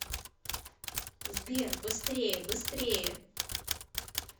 сбер быстрее быстрее